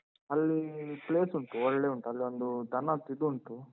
ಅಲ್ಲಿ, place ಉಂಟು ಒಳ್ಳೇ ಉಂಟು. ಅಲ್ಲೊಂದು ದನದ್ ಇದುಂಟು.